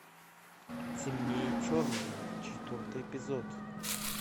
темнее черного четвертый эпизод